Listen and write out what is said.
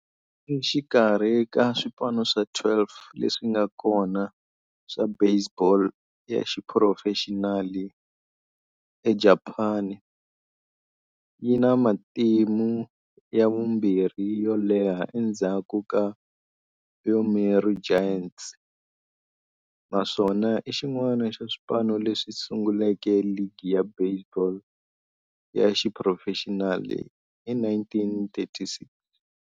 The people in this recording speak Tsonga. Exikarhi ka swipano swa 12 leswi nga kona swa baseball ya xiphurofexinali eJapani, yi na matimu ya vumbirhi yo leha endzhaku ka Yomiuri Giants, naswona i xin'wana xa swipano leswi sunguleke ligi ya baseball ya xiphurofexinali hi 1936.